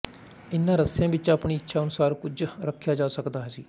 ਇਹਨਾਂ ਰੱਸਿਆਂ ਵਿੱਚ ਆਪਣੀ ਇੱਛਾ ਅਨੁਸਾਰ ਕੁਝ ਰਖਿਆ ਜਾ ਸਕਦਾ ਸੀ